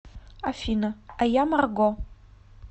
афина а я марго